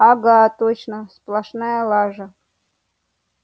ага точно сплошная лажа